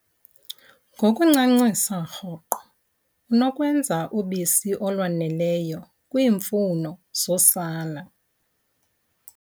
Ngokuncancisa rhoqo, unokwenza ubisi olwaneleyo kwiimfuno zosana.